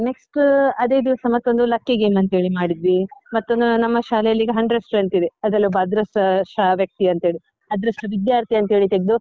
Next , ಅದೇ ದಿವ್ಸ ಮತ್ತೊಂದು lucky game ಅಂತ ಹೇಳಿ ಮಾಡಿದ್ವಿ, ಮತ್ತೊಮ್ಮೆ ನಮ್ಮ ಶಾಲೆಯಲ್ಲಿ ಈಗ hundred strength ಇದೆ, ಅದ್ರಲ್ಲೊಬ್ಬ ಅದೃಷ್ಟ ಶ ವ್ಯಕ್ತಿ ಅಂತ ಹೇಳಿ, ಅದೃಷ್ಟ ವಿದ್ಯಾರ್ಥಿ ಅಂತ ಹೇಳಿ ತೆಗ್ದು.